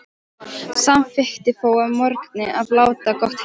Samþykkti þó að morgni að láta gott heita.